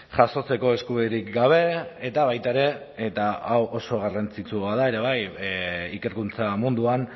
jasotzeko eskubiderik gabe eta baita ere eta hau oso garrantzitsua da ere bai ikerkuntza munduan